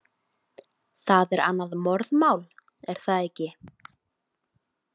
Það er annað morðmál, er það ekki?